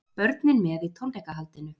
Börnin með í tónleikahaldinu